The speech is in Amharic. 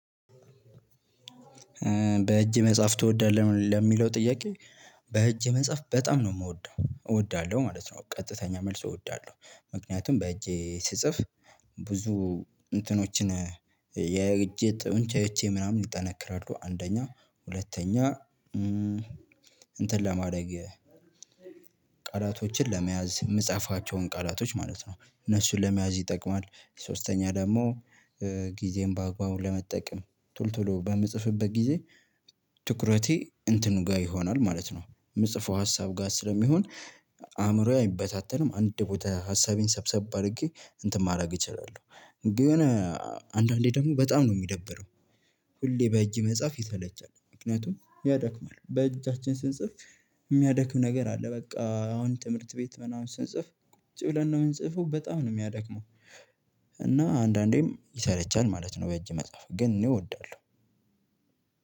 በእጅ መጻፍ ትወዳለህ ለሚለው ጥያቄ? በእጅ መጻፍ በጣም ነው የምወደው እወዳለሁ ማለት ነው ቀጥተኛ መልስ እወዳለሁ። ምክንያቱም በእጄ ስጽፍ ብዙ እንትኖችን የእጅ ጡንቻዎቼ ምናምን ይጠነክራሉ። አንደኛ ሁለተኛ እንትን ለማድረግ ቃላቶችን ለመያዝ የምጽፋቸውን ቃላቶች ማለት ነው እነሱን ለመያዝ ይጠቅማል። ሶስተኛ ደግሞ ጊዜን በአግባቡ ለመጠቀም ቶሎ ቶሎ በምጽፍበት ጊዜ ትኩረቴ እንትኑ ጋር ይሆናል ማለት ነው የምጽፈው ሀሳብ ጋር ስለሚሆን። አእምሮዬ አይበታተንም አንድ ቦታ ሀሳቤን ሰብሰብ አድርጌ እንትን ማድረግ እችላለሁ። ግን አንዳንዴ ደግሞ በጣም ነው የሚደብረው። ሁሌ በእጅ መጻፍ ይሰለቻል ምክንያቱም ያደክማል በእጃችን ስንጽፍ የሚያደክም ነገር አለ። በቃ አሁን ትምህርት ቤት ምናምን ስንጽፍ ቁጭ ብለን ነው የምንጽፈው በጣም ነው የሚያደክመው። እና አንዳንዴም ይሰለቻል ማለት ነው። በእጅ መጽሐፍ ግን እኔ እወዳለሁ።